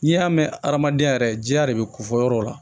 N'i y'a mɛn adamadenya yɛrɛ diya de bɛ kofɔ yɔrɔw la